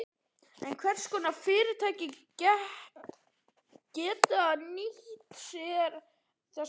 En hvers konar fyrirtæki geta nýtt sér þessa þjónustu?